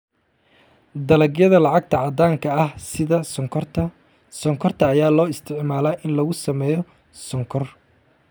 Dalagyada lacagta caddaanka ah sida sonkorta sonkorta ayaa loo isticmaalaa in lagu sameeyo sonkor.